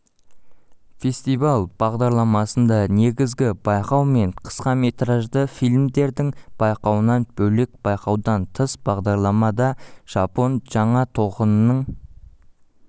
фестиваль бағдарламасында негізгі байқау мен қысқаметражды фильмдердің байқауынан бөлек байқаудан тыс бағдарламада жапон жаңа толқынының